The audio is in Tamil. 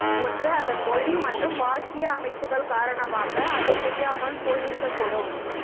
ஒன்று அதன் மொழி மற்றும் வாக்கிய அமைப்புகள் காரணமாக அது புரியாமல் போயிருக்க கூடும்